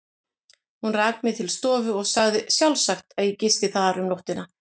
Hún rak mig til stofu og sagði sjálfsagt, að ég gisti þar um nóttina.